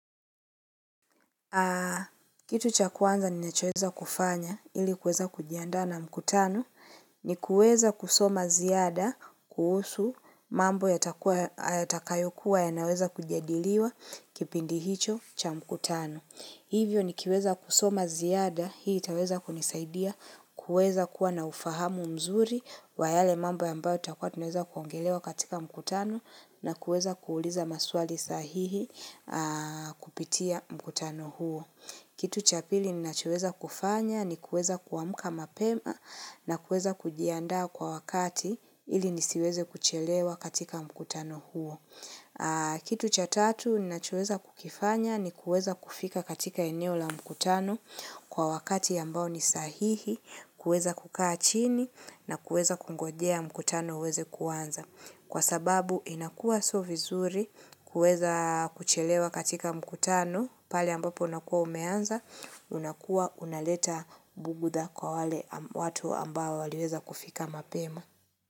Kitu cha kwanza ninachoweza kufanya ili kuweza kujiandaa na mkutano ni kuweza kusoma ziada kuhusu mambo yatakayokuwa yanaweza kujadiliwa kipindi hicho cha mkutano. Hivyo ni kiweza kusoma ziada, hii itaweza kunisaidia, kuweza kuwa na ufahamu mzuri wa yale mambo ambayo tutakuwa tunaweza kuongelelea katika mkutano na kuweza kuuliza maswali sahihi kupitia mkutano huo. Kitu cha pili ninachoweza kufanya ni kuweza kuamka mapema na kuweza kujiandaa kwa wakati ili nisiweze kuchelewa katika mkutano huo. Kitu cha tatu ninachoweza kukifanya ni kuweza kufika katika eneo la mkutano kwa wakati ambao ni sahihi, kuweza kukaa chini na kuweza kungojea mkutano uweze kuanza. Kwa sababu inakua sio vizuri kuweza kuchelewa katika mkutano pale ambapo unakua umeanza, unakuwa unaleta bughudha kwa wale watu ambao waliweza kufika mapema.